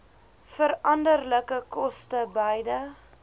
veranderlike koste beide